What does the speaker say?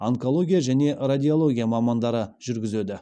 онкология және радиология мамандары жүргізеді